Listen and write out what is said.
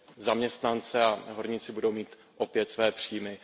zaměstnance a horníci budou mít opět své příjmy.